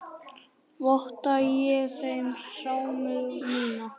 Votta ég þeim samúð mína.